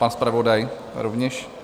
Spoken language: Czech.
Pan zpravodaj rovněž?